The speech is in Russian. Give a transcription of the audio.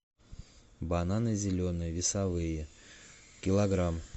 бананы зеленые весовые килограмм